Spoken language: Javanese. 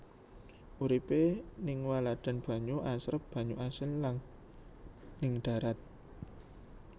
Uripé ning waladan banyu asrep banyu asin lan ning darat